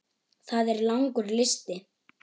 Það er langur listi.